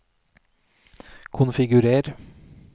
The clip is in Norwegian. konfigurer